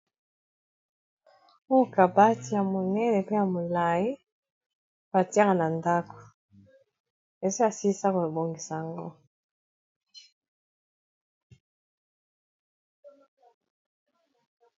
okabati ya monene pe ya molai katiaka na ndako eza asilisako ebongisa yango